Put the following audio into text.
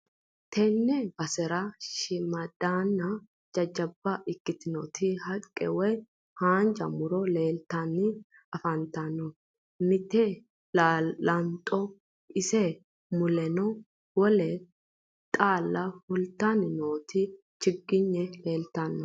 Tenne basera shiimmadanna jajjaba ikkitinoti haqqe woyi haanja muro leeltanni afantano mite laanxeho ise muleno wole xaalla fultanni noo chiggigne leeltanno